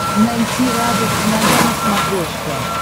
найти радость моя на смотрешке